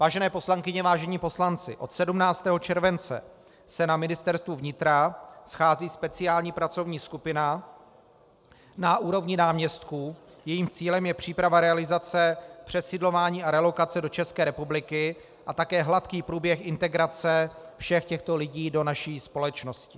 Vážené poslankyně, vážení poslanci, od 17. července se na Ministerstvu vnitra schází speciální pracovní skupina na úrovni náměstků, jejímž cílem je příprava realizace přesídlování a relokace do České republiky a také hladký průběh integrace všech těchto lidí do naší společnosti.